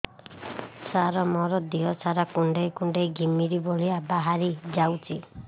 ସାର ମୋର ଦିହ ସାରା କୁଣ୍ଡେଇ କୁଣ୍ଡେଇ ଘିମିରି ଭଳିଆ ବାହାରି ଯାଉଛି